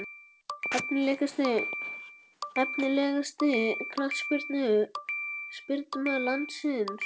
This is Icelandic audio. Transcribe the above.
Efnilegasti knattspyrnumaður landsins?